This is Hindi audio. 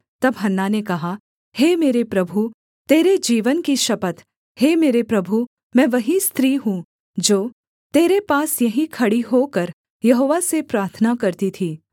तब हन्ना ने कहा हे मेरे प्रभु तेरे जीवन की शपथ हे मेरे प्रभु मैं वही स्त्री हूँ जो तेरे पास यहीं खड़ी होकर यहोवा से प्रार्थना करती थी